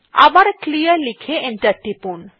আবার ক্লিয়ার লিখে এন্টার টিপুন